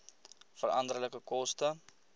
veranderlike koste